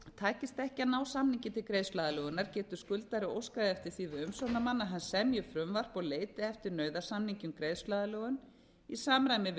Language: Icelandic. takist ekki að ná samningi til greiðsluaðlögunar getur skuldari óskað eftir því við umsjónarmann að hann semji frumvarp og leiti eftir nauðasamningi um greiðsluaðlögun í samræmi við